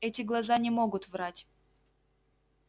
эти глаза не могут врать